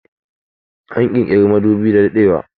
An kirkiri madubi da daɗewa